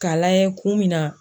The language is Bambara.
K'a layɛ kun min na.